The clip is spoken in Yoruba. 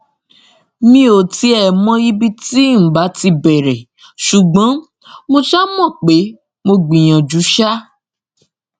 mi ò tiẹ mọ ibi tí ǹ bá ti bẹrẹ ṣùgbọn mo ṣáà mọ pé mo gbìyànjú ṣá